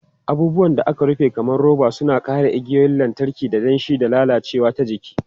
Abubuwan da aka rufe kamar roba suna kare igiyoyin lantarki daga danshi da lalacewa ta jiki.